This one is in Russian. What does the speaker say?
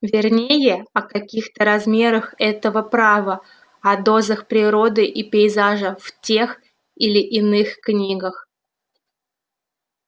вернее о каких-то размерах этого права о дозах природы и пейзажа в тех или иных книгах